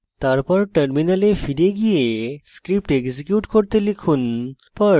তারপর terminal ফিরে গিয়ে script execute করুন